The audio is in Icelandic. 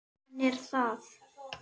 Hann er það.